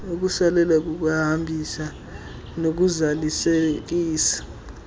ukusalela kokuhambisa nokuzalisekisa